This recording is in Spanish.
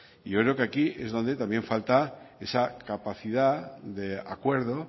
y yo creo que aquí es donde falta esa capacidad de acuerdo